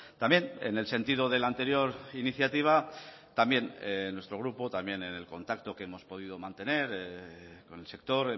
también en el sentido de la anterior iniciativa también nuestro grupo también en el contacto que hemos podido mantener con el sector